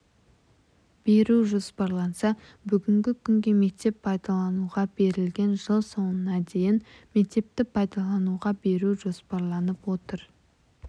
беру жоспарланса бүгінгі күнге мектеп пайдалануға берілген жыл соңына дейін мектепті пайдалануға беру жоспарланып отыр